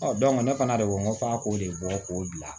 ne fana de ko n ko f'a k'o de bɔ k'o bila